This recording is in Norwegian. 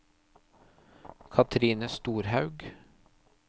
Cathrine Storhaug